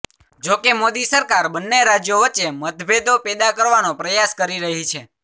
જોકે મોદી સરકાર બંને રાજ્યો વચ્ચે મતભેદો પેદા કરવાનો પ્રયાસ કરી રહી છે